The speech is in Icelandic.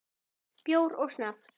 Bjór og snafs.